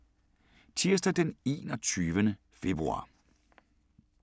Tirsdag d. 21. februar 2017